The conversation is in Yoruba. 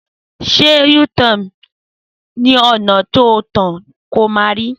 Sẹ ú –tọń ní onà bi tọ kan tọ mà rí!